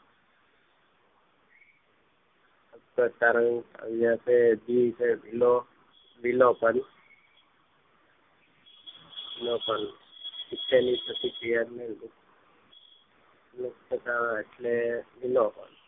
અ નો પણ શિક્ષણ ની પ્રતિક્રિયા મુક્તતા એટલે વિલોપન